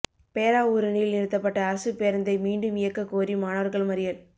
பேராவூரணியில் நிறுத்தப்பட்ட அரசுப்பேருந்தை மீண்டும் இயக்க கோரி மாணவர்கள் மறியல்